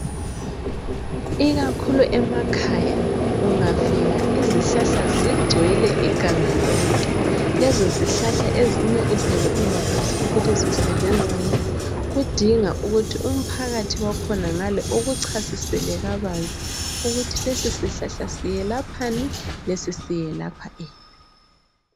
Ikakhulu emakhaya ungafika izihlahla zigcwele iganga lonke. Lezo zihlahla ezinye uzabe ungakwazi ukuthi zisebenzani, kudinga ukuthi umphakathi wakhonangale ukuchasisele kabanzi ukuthi lesi sihlahla siyelaphani lesi siyelapha ini.